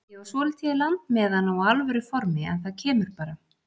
Ég á svolítið í land með að ná alvöru formi en það kemur bara.